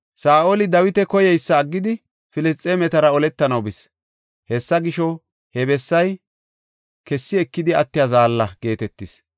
Saa7oli Dawita koyeysa aggidi, Filisxeemetara oletanaw bis. Hessa gisho, he bessay “Kessi ekidi attiya zaalla” geetetis.